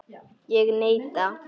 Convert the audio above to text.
Ég neita.